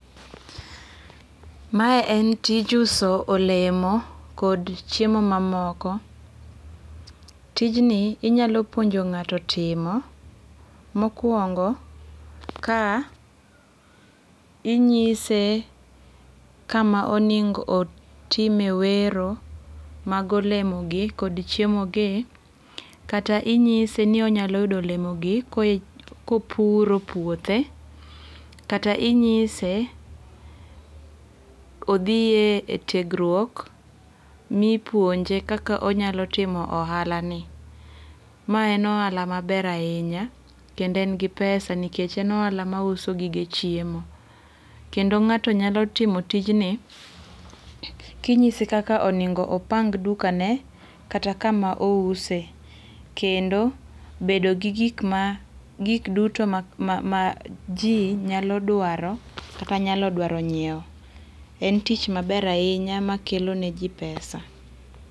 Mae en tij uso olemo kod chiemo mamoko. Tijni inyalo puonjo ng'ato timo. Mokuongo ka inyise kama onengo otime wero mag olemo gi kod chiemo gi. Kata inyise ni onyalo yudo olemo gi kopuro puothe. Kata inyise odhie e tiegruok mipuonje kaka onyalo timo ohala ni. Ma en ohala maber ahinya kendo en gi pesa nikech e ohala ma uso gige chiemo. Kendo ng'ato nyalo timo tijni kinyise kaka onengo opang duka ne kata kama ouse. Kendo bedo gi gik ma gik duto ma ji nyalo dwaro kata nyalo dwaro ny'iew,. En tich maber ahinya makelo ne ji pesa.